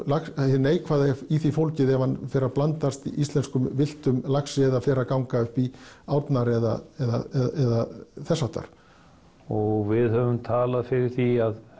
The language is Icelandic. hið neikvæða er í því fólgið ef hann fer að blandast íslenskum villtum laxi eða fer að ganga upp í árnar eða eða þess háttar og við höfum talað fyrir því að